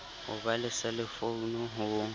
ho ba le selefounu ho